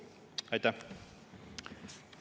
Aitäh!